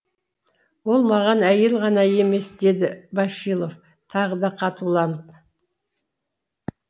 ол маған әйел ғана емес деді башилов тағы да қатуланып